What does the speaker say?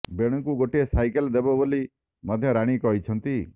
ବେଣୁଙ୍କୁ ଗୋଟେ ସାଇକେଲ ଦେବେ ବୋଲି ମଧ୍ୟ ରାଣୀ କହିଛନ୍ତି